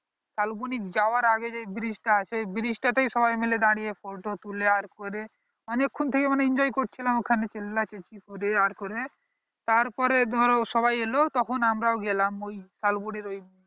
শালবন যাবার আগে যেই bridge টা আছে ঐই bridge টাতে সবাই মিলে দাঁড়িয়ে photo তুলে আর করে অনেক ক্ষণ থেকে মানে enjoy করছিলাম ওখানে চিল্লাচি চেচি করে আর করে তার পরে ধর সবাই এলো তখন আমারও গেলাম ঐই শালবনের ঐই